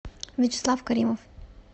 вячеслав каримов